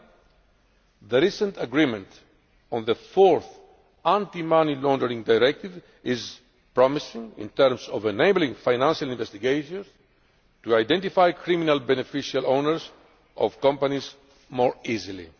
Lastly, the recent agreement on the fourth Anti Money Laundering Directive is promising in terms of enabling financial investigations to identify criminal beneficial owners of companies more easily.